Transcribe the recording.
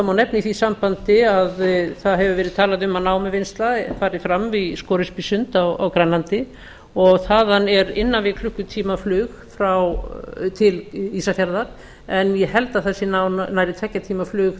það má nefna í því sambandi að það hefur verið talað um að námuvinnsla fari fram í sporöskjusundi á grænlandi og þaðan er innan við klukkutímaflug til ísafjarðar en ég held að það sé nærri tveggja tíma flug